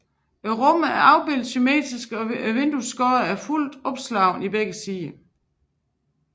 Rummet er afbildet symmetrisk og vinduets skodder er fuldt opslåede i begge sider